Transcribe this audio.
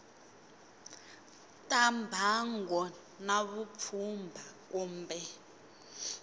ta mbango na vupfhumba kumbe